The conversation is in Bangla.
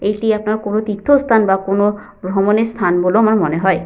এটি আপনার কোনো তীর্থস্থান বা কোনো ভ্রমণের স্থান বলেও আমার মনে হয়।